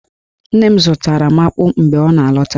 Nne m zụtara m akpụ mgbe ọ na-alọta